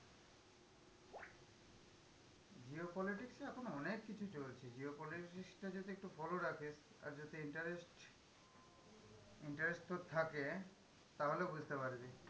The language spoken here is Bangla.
Geo politics এ এখন অনেক কিছু চলছে, geo politics টা যদি একটু follow রাখিস আর যদি interest interest তোর থাকে তাহলে বুঝতে পারবি।